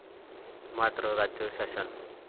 मात्र राज्य शासन.